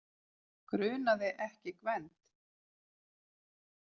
Grunaði ekki Gvend.